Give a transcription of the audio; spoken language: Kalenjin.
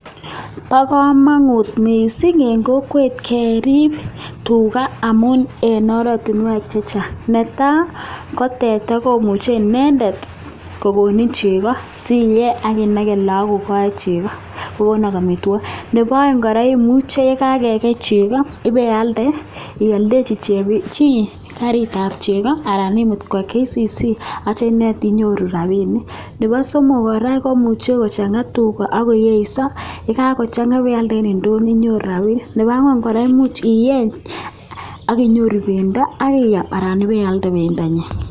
Paa kamangut mising Eng kokwet keriib Tuga ,Netai teta ngeriib kokonu chegoo ,Nepo aek imuchi ialde chegoo kopa ndonyo sinyoru rapisheek, Nepo somok imuchi ieeny sikenyoru. pendo ,imuchi ialde chegoo kopa kampunit ap (KCC) koraaa